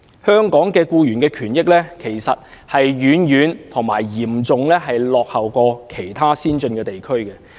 香港僱員的權益，其實已遠遠嚴重落後於其他先進地區。